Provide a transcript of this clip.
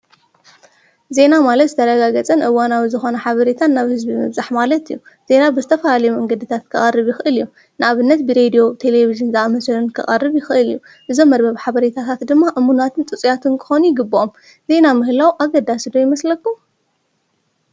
ዜና ማለት ዝተረጋገፀን እዋናዊ ዝኾነ ሓበሬታን ናብ ህዝቢ ምብፃሕ ማለት እዩ፡፡ ዜና ብዝተፈላለዩ መንገድታት ከቐሪብ ይኽእል እዩ፡፡ ንኣብነት ብሬድዩ፣ ቴሌብዥን ዝኣመስሉን ከቐርብ ይኽእል እዩ፡፡ ብዞም መርበብ ሓበሬታታት ድማ እሙናትን ጽጽያትን ክኾኑ ይግብኦም ዜና ምህላው ኣገዳሲ ዶ ይመስለኩም?